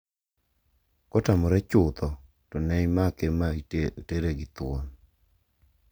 Ka otamore chutho to ne imake ma tere gi thuon.